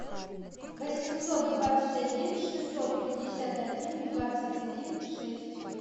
восемьсот двадцать один шестьсот пятьдесят один двадцать один шесть